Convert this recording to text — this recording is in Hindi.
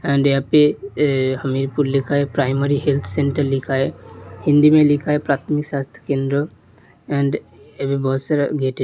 एंड यहाँ पर हमीरपुर लिखा हुआ है प्राइमरी हेल्थ सेंटर लिखा है हिंदी में लिखा है प्राथमिक स्वास्थ्य केंद्र‌। एंड बहुत सारे ग --